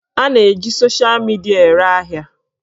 A na-eji sosha midia ere ahịa